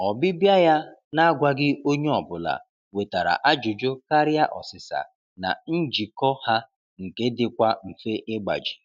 Ọbịbịa ya na-agwaghị onye ọbụla wetara ajụjụ karịa ọsịsa na njikọ ha nke dịkwa mfe ịgbaji.